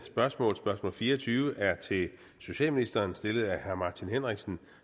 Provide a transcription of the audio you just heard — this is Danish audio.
spørgsmål spørgsmål fire og tyve er til socialministeren stillet af herre martin henriksen